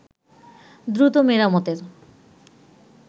দ্রুত মেরামতের